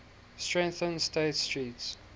strengthened state street's